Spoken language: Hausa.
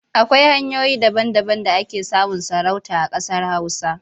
Akwai hanyoyi daba-daban da ake samun sarauta a ƙasar Hausa.